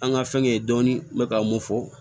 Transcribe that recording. An ka fɛnkɛ ye dɔɔni n bɛ ka mun fɔ